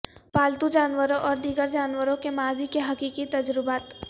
پالتو جانوروں اور دیگر جانوروں کے ماضی کے حقیقی تجربات